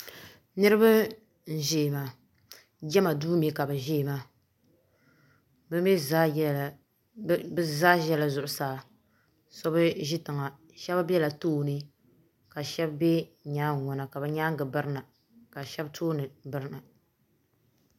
Niriba n ʒɛya maa jama duu mi ka bi ʒɛya maa bi mi zaa ʒɛla Zuɣusaa so bi ʒi tiŋa shɛb bela too ni ka shɛb be nyaangi ŋɔ na ka bi nyaanga biri na ka shɛb too ni birina.